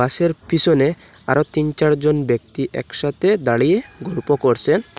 পিসনে আরও তিন চারজন ব্যক্তি একসাথে দাঁড়িয়ে গল্প করসেন।